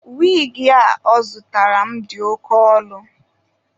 Wigi a ọ zụtara m dị oke ọnụ.